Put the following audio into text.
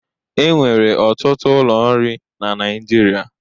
E nwere ọtụtụ ụlọ nri na Naịjirịa.